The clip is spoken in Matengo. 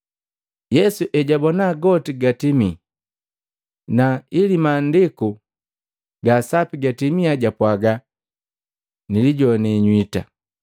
Yesu ejabona goti gatimii, na ili Maandiku ga Sapi gatimia japwaaga, “Nilijoane nywita.”